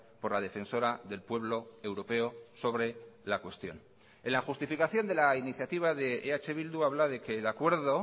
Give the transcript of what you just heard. por la defensora del pueblo europeo sobre la cuestión en la justificación de la iniciativa de eh bildu habla de que el acuerdo